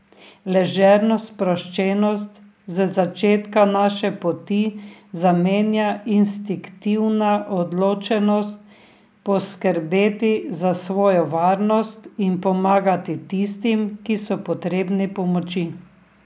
Ležerno sproščenost z začetka naše poti zamenja instinktivna odločenost poskrbeti za svojo varnost in pomagati tistim, ki so potrebni pomoči.